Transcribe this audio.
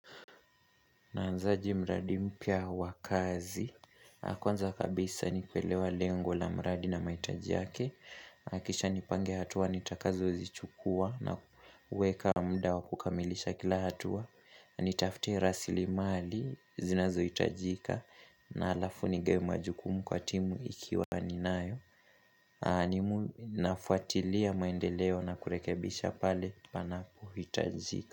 Naanzaje mradi mpya wakazi. Kwanza kabisa ni kuelewa lengo la mradi na maitaji yake. Akisha nipange hatua nitakazo zichukua na uweka muda wakukamilisha kila hatua. Nitaftie rasilimali zinazo hitajika na alafu ni gawe majukumu kwa timu ikiwa ni nayo. Nafuatilia maendeleo na kurekebisha pale panapo hitajika.